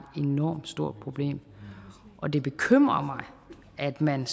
enormt stort problem og det bekymrer mig at man